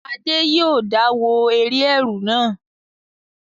Adé yòó dá wo eré ẹ̀rù náà